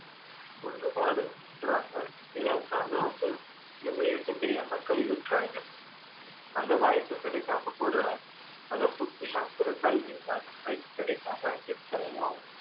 ஒண்ணு பாதியில விட்டுடுறாங்க இல்லாட்டின்னா அதை வந்து உபயோகிக்க தெரியாம கை விட்டுடுறாங்க அந்த வாய்ப்பு கிடைக்காம கூட அந்த பொக்கிஷங்குற கல்விக்கான வாய்ப்பு கிடைக்காம எத்தனையோ